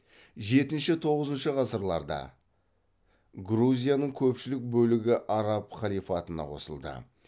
жетінші тоғызыншы ғасырларда грузияның көпшілік бөлігі араб халифатына қосылды